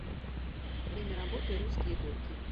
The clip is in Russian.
время работы русские горки